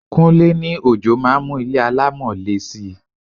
Kúnlé ní ojò máa ń mú ilé alámọ̀ le si.